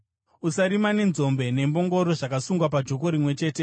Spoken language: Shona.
Usarima nenzombe nembongoro zvakasungwa pajoko rimwe chete.